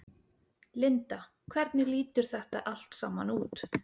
Linda hvernig lítur þetta allt saman út?